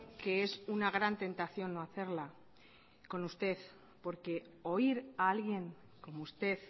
que es una gran tentación no hacerla con usted porque oír a alguien como usted